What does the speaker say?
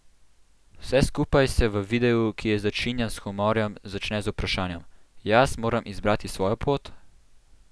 Vse skupaj se v videu, ki je začinjen s humorjem, začne z vprašanjem: "Jaz moram izbrati svojo pot?